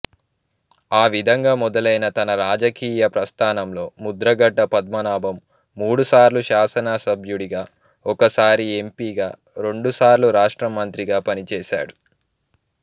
ఆవిధంగా మొదలైన తన రాజకీయ ప్రస్థానంలో ముద్రగడ పద్మనాభం మూడుసార్లు శాసనసభ్యుడిగా ఒకసారి ఎంపీగా రెండుసార్లు రాష్ట్ర మంత్రిగా పనిచేశారు